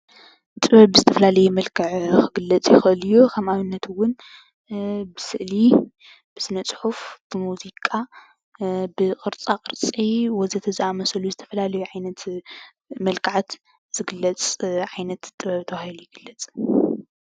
ጥበብ ብዝተፈላለየ መልክዕ ክግለፅ ይክእል እዩ። ከም ኣብነት እውን ብስእሊ፣ ብስነፅሑፍ፣ ብሙዚቃ፣ ብቅርፃ ቅርፂ ወዘተ ዝኣምሳሰሉ ዝተፈላለየ ዓይነት መልክዓት ዝግለፅ ዓይነት ጥበብ ተባሂሉ ይግለፅ፡፡